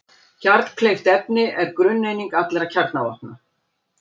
Kjarnkleyft efni er grunneining allra kjarnavopna.